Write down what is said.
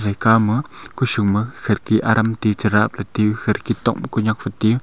gekha ma kushun ma kherki aram techarap te kherkitok ma khanyak futi.